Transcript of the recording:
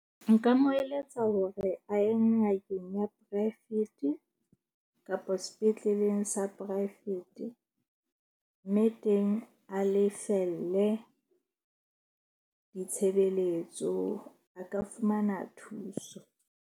Nka mo eletsa hore a ye ngakeng ya poraefete kapa sepetleleng sa poraefete. Mme teng a lefelle ditshebeletso, a ka fumana thuso.